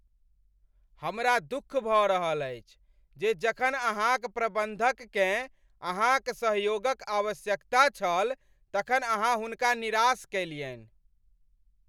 हमरा दुःख भ रहल अछि जे जखन अहाँक प्रबन्धककेँ अहाँक सहयोगक आवश्यकता छल तखन अहाँ हुनका निराश कयलियन्हि ।